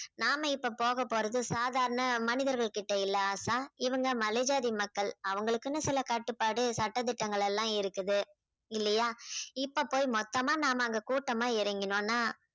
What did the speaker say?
நாம இப்போ போக போறது சாதாரண மனிதர்கள்கிட்ட இல்லை ஆசா இவங்க மலை ஜாதி மக்கள் அவங்களுக்குன்னு சில கட்டுப்பாடு சட்ட திட்டங்கள் எல்லாம் இருக்குது இல்லையா? இப்போ போய் மொத்தமா நாம அங்க கூட்டமா இறங்கினோம்னா